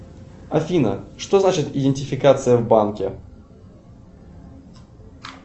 афина что значит идентификация в банке